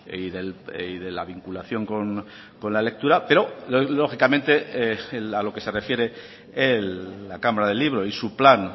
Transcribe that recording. y de la vinculación con la lectura pero lógicamente a lo que se refiere la cámara del libro y su plan